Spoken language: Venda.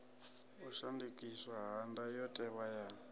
u shandukiswa ha ndayotewa ya